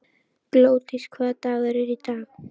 Glódís, hvaða dagur er í dag?